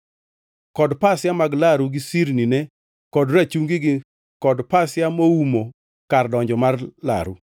kod pasia mag laru gi sirnine kod rachungigi kod pasia moumo kar donjo mar laru,